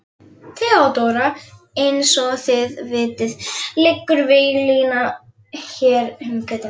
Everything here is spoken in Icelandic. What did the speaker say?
THEODÓRA: Eins og þið vitið liggur víglína hér um götuna.